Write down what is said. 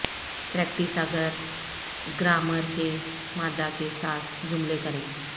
practice اگر grammar کے مادہ کے ساتھ جملے کریں